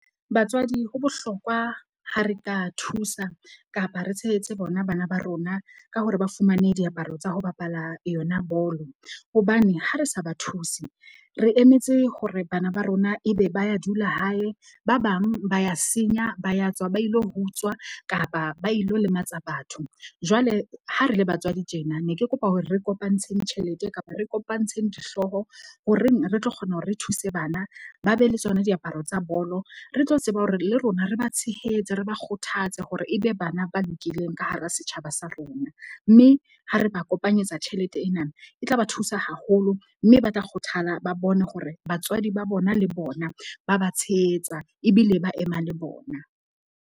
Batswadi ho bohlokwa ha re ka thusa kapa re tshehetse bona bana ba rona ka hore ba fumane diaparo tsa ho bapala yona bolo. Hobane ha re sa ba thuse, re emetse hore bana ba rona ebe ba ya dula hae. Ba bang ba ya senya, ba ya tswa, ba ilo utswa kapa ba ilo lematsa batho. Jwale ha re le batswadi tjena ne ke kopa hore re kopantsheng tjhelete kapa re kopantsheng dihlooho horeng re tlo kgona hore re thuse bana ba be le tsona diaparo tsa bolo. Re tlo tseba hore le rona re ba tshehetse, re ba kgothatse hore ebe bana ba lokileng ka hara setjhaba sa rona. Mme ha re ba kopanyetsa tjhelete ena. E tla ba thusa haholo mme ba tla kgothala ba bone hore batswadi ba bona le bona, ba ba tshehetsa ebile ba ema le bona.